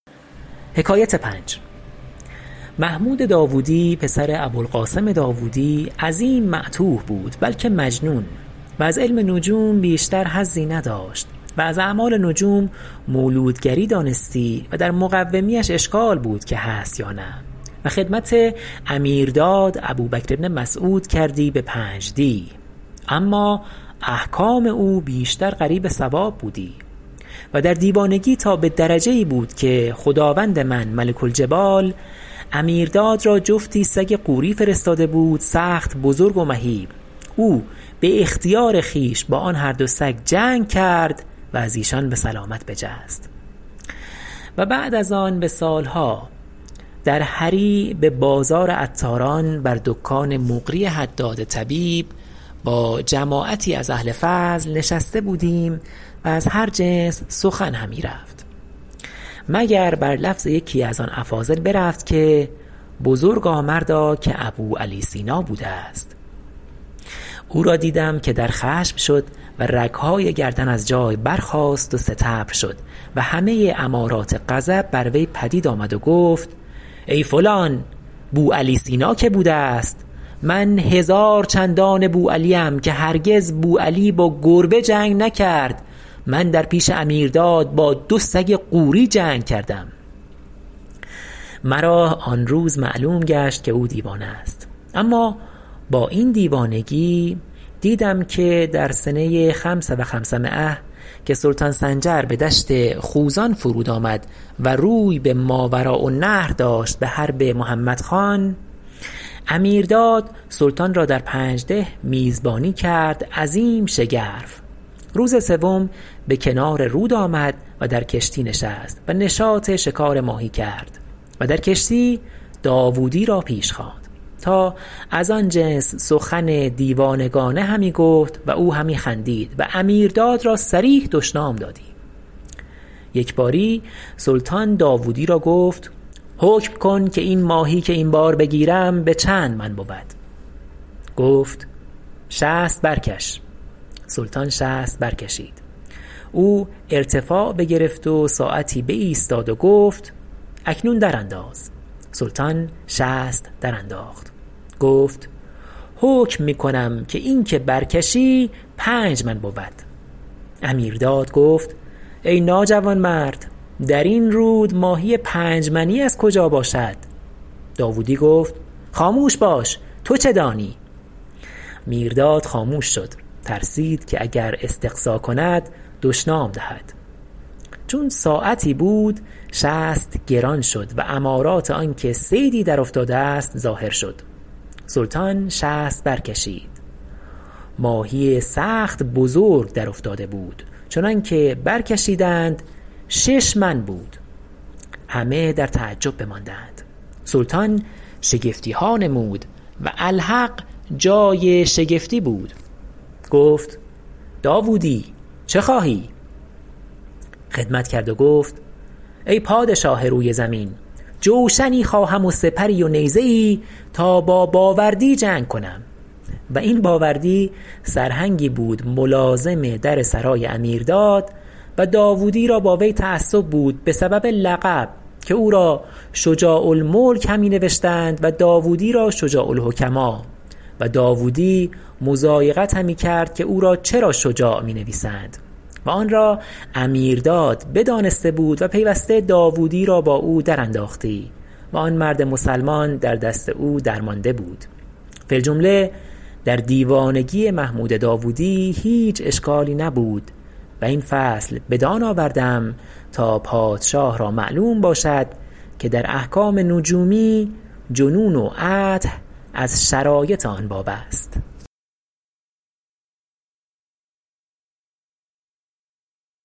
محمود داودی پسر ابوالقاسم داودی عظیم معتوه بود بلکه مجنون و از علم نجوم بیشتر حظی نداشت و از اعمال نجوم مولودگری دانستی و در مقومیش اشکال بود که هست یا نه و خدمت امیرداد ابوبکر بن مسعود کردی به پنج دیه اما احکام او بیشتر قریب صواب بودی و در دیوانگی تا به درجه ای بود که خداوند من ملک الجبال امیرداد را جفتی سگ غوری فرستاده بود سخت بزرگ و مهیب او به اختیار خویش با آن هر دو سگ جنگ کرد و از ایشان به سلامت بجست و بعد از آن به سال ها در هری به بازار عطاران بر دکان مقری حداد طبیب با جماعتی از اهل فضل نشسته بودیم و از هر جنس سخن همی رفت مگر بر لفظ یکی از آن افاضل برفت که بزرگ مردا که ابوعلی سینا بوده است او را دیدم که در خشم شد و رگ های گردن از جای برخاست و ستبر شد و همه امارات غضب بر وی پدید آمد و گفت ای فلان بوعلی سینا که بوده است من هزار چندان بوعلی ام که هرگز بوعلی با گربه جنگ نکرد من در پیش امیرداد با دو سگ غوری جنگ کردم مرا آن روز معلوم گشت که او دیوانه است اما با این دیوانگی دیدم که در سنه خمس و خمسمایة که سلطان سنجر به دشت خوزان فرود آمد و روی به ماوراء النهر داشت به حرب محمد خان امیرداد سلطان را در پنجده میزبانی کرد عظیم شگرف روز سوم به کنار رود آمد و در کشتی نشست و نشاط شکار ماهی کرد و در کشتی داودی را پیش خواند تا از آن جنس سخن دیوانگانه همی گفت و او همی خندید و امیرداد را صریح دشنام دادی یک باری سلطان داودی را گفت حکم کن که این ماهی که این بار بگیرم به چند من بود گفت شست برکش سلطان شست برکشید او ارتفاع بگرفت و ساعتی بایستاد و گفت اکنون در انداز سلطان شست درانداخت گفت حکم می کنم که این که بر کشی پنج من بود امیرداد گفت ای ناجوانمرد در این رود ماهی پنج منی از کجا باشد داودی گفت خاموش باش تو چه دانی میرداد خاموش شد ترسید که اگر استقصا کند دشنام دهد چون ساعتی بود شست گران شد و امارات آن که صیدی در افتاده است ظاهر شد سلطان شست برکشید ماهی سخت بزرگ در افتاده بود چنان که برکشیدند شش من بود همه در تعجب بماندند و سلطان شگفتی ها نمود و الحق جای شگفتی بود گفت داودی چه خواهی خدمت کرد و گفت ای پادشاه روی زمین جوشنی خواهم و سپری و نیزه ای تا با باوردی جنگ کنم و این باوردی سرهنگی بود ملازم در سرای امیرداد و داودی را با وی تعصب بود به سبب لقب که او را شجاع الملک همی نوشتند و داودی را شجاع الحکماء و داودی مضایقت همی کرد که او را چرا شجاع می نویسند و آن را امیرداد بدانسته بود و پیوسته داودی را با او در انداختی و آن مرد مسلمان در دست او درمانده بود فی الجمله در دیوانگی محمود داودی هیچ اشکالی نبود و این فصل بدان آوردم تا پادشاه را معلوم باشد که در احکام نجومی جنون و عته از شرایط آن باب است